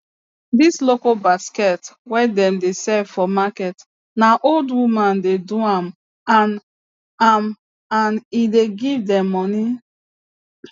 this local basket wey dem de sell for market na old women de do am an am an e de give dem moni